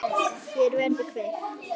Hér verður kveikt.